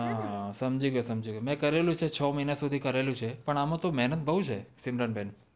હા સમજી ગય સમજી ગય મેં કરેલુ છે છ મહિના સુદી કરેલું છે પણ આમ તો મેહનત બોવ છે સિમરન બેન